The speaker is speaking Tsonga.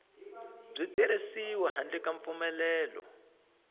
byi tirhisiwi handle ka mpfumelelo